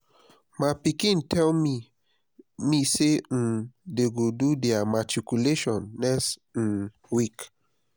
my pikin tell me me say um dey go do their matriculation next um week